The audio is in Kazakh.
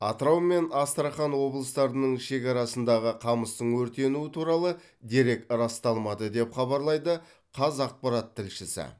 атырау мен астрахан облыстарының шекарасындағы қамыстың өртенуі туралы дерек расталмады деп хабарлайды қазақпарат тілшісі